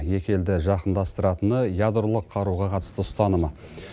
екі елді жақындастыратыны ядролық қаруға қатысты ұстанымы